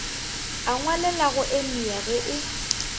a ngwalelago emia ge e